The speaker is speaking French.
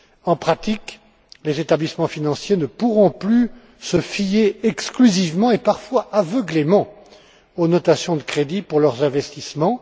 En pratique, les établissements financiers ne pourront plus se fier, exclusivement, et, parfois aveuglément, aux notations de crédit, pour leurs investissements.